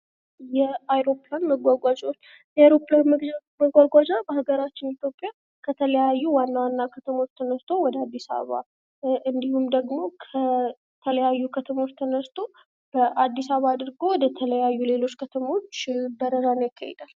የአይሮፕላን መጓጓዣዎች ፦የአይሮፕላን መጓጓዣ በሀገራችን ኢትዮጵያ ከተለያዩ ዋና ዋና ከተሞች ተነስቶ ወደ አዲስአበባ እንዲሁም ደግሞ ከተለያዩ ከተሞች ተነስቶ በአዲስአበባ አድርጎ ወደተለያዩ ሌሎች ከተሞች በረራን ያካሂዳል።